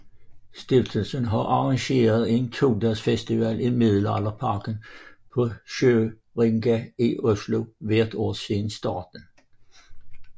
Stiftelsen har arrangeret en to dages festival i Middelalderparken på Sørenga i Oslo hvert år siden starten